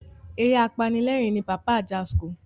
Eré apanilerin ni Pàpá Ajasco.